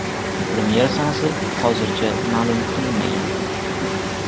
Premyera sanasi hozircha ma’lum qilinmagan.